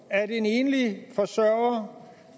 af at en enlig forsørger